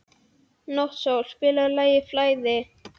Náttsól, spilaðu lagið „Flæði“.